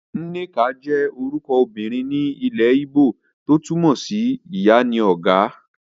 Nneka jẹ́ orúkọ ọmọbìnrin ni ilẹ́ ígbò tó túmọ̀ sí Ìyá ni ó ga.